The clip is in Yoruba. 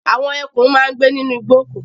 Àwọn ẹkùn máa ń gbé nínú igbó.